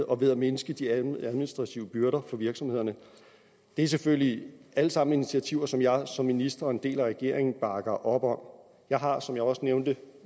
og ved at mindske de administrative byrder for virksomhederne det er selvfølgelig alle sammen initiativer som jeg som minister og en del af regeringen bakker op om jeg har som jeg også nævnte